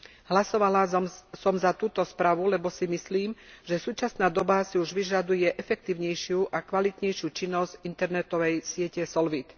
Hlasovala som za túto správu, lebo si myslím, že súčasná doba si už vyžaduje efektívnejšiu a kvalitnejšiu činnosť internetovej siete Solvit.